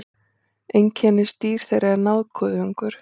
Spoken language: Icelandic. Einkennisdýr þeirra er nákuðungur.